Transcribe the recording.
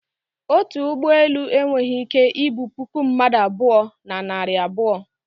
otu ụgbọ elu enweghị ike ibu puku mmadụ abụọ, na narị abuo